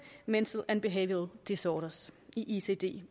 mental and behavioural disorders i icd